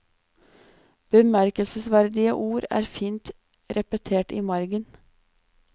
Bemerkelsesverdige ord er fint repetert i margen.